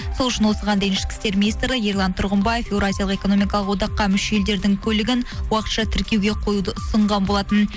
сол үшін осыған дейін ішкі істер министрі ерлан тұрғымбаев еуразиялық экономикалық одаққа мүше елдердің көлігін уақытша тіркеуге қоюды ұсынған болатын